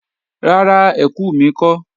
Rárá, ẹkù mi kọ́